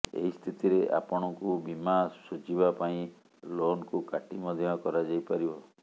ଏହି ସ୍ଥିତିରେ ଆପଣଙ୍କୁ ବୀମା ଶୁଝିବା ପାଇଁ ଲୋନ୍ କୁ କାଟି ମଧ୍ୟ କରାଯାଇପାରିବ